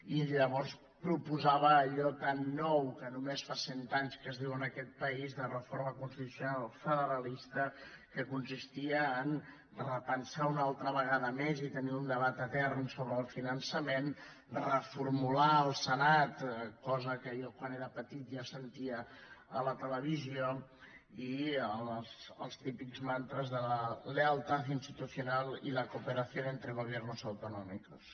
i llavors proposava allò tan nou que només fa cent anys que es diu en aquest país de reforma constitucional federalista que consistia a repensar una altra vegada més i tenir un debat etern sobre el finançament reformular el senat cosa que jo quan era petit ja sentia a la televisió i els típics mantres de lealtad institucional i la cooperación entre gobiernos autonómicos